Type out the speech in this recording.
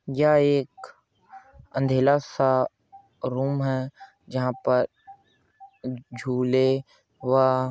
यह एक अंधेला सा रूम है जहां पर झूले व --